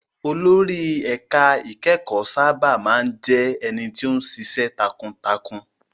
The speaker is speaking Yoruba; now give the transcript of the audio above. Olórí ẹ̀ka ìkẹ́kọ̀ọ́ sábà má ń jẹ́ ẹni tó ń ṣiṣẹ́ takuntakun.